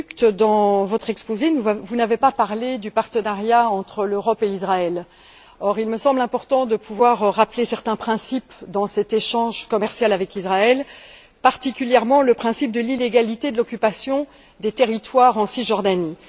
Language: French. De Gucht, dans votre exposé, vous n'avez pas parlé du partenariat entre l'Europe et Israël. Or il me semble important de pouvoir rappeler certains principes dans cet échange commercial avec Israël, particulièrement le principe de l'illégalité de l'occupation des territoires en Cisjordanie.